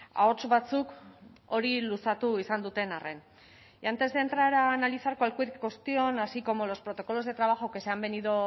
ahots batzuk hori luzatu izan duten arren y antes de entrar a analizar cualquier cuestión así como los protocolos de trabajo que se han venido